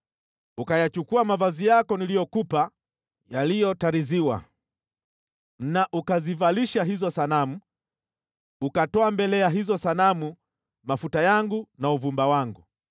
Ukayachukua mavazi yako niliyokupa yaliyotariziwa na ukazivalisha hizo sanamu, ukatoa mbele ya hizo sanamu mafuta yangu na uvumba wangu.